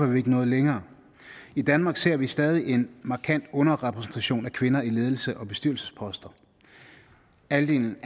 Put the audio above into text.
vi ikke nået længere i danmark ser vi stadig en markant underrepræsentation af kvinder i ledelse og på bestyrelsesposter andelen